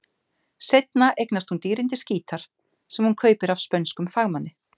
Seinna eignast hún dýrindis gítar, sem hún kaupir af spönskum fagmanni.